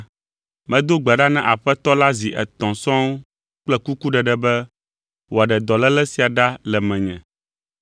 Medo gbe ɖa na Aƒetɔ la zi etɔ̃ sɔŋ kple kukuɖeɖe be wòaɖe dɔléle sia ɖa le menye.